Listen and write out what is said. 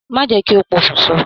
Má jẹ́ kí ó pokùn so.